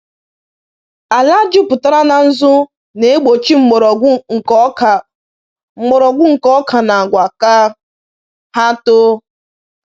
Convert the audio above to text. Ala jupụtara na nzu na-egbochi mgbọrọgwụ nke oka mgbọrọgwụ nke oka na agwa ka ha too.